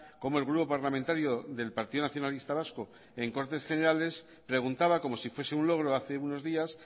cómo el grupo parlamentario del partido nacionalista vasco en cortes generales preguntaba como si fuese un logro hace unos días